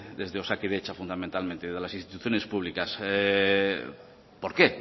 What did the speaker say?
desde osakidetza fundamentalmente desde las instituciones públicas por qué